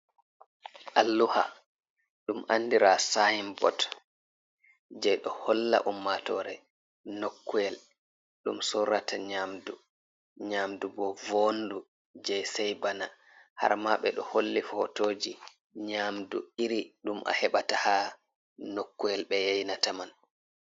Alluha ɗum andira sayinbot, je ɗo holla ummatoore nokkuyel ɗum soorata nƴamdu, nƴamdu bo vondu je sai bana. Harma ɓe ɗo holli fotooji nƴamdu iri ɗum a heɓata haa nokkuyel ɓe yaynata man.